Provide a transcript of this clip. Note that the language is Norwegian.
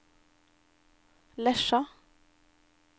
Lesja